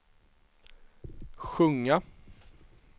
sjunga